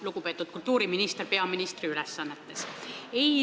Lugupeetud kultuuriminister peaministri ülesannetes!